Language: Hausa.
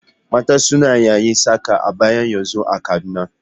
Mata suna yayin saka abaya yanzun a Kaduna.